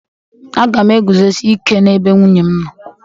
Aga m eguzosi ike n'ebe nwunye m nọ.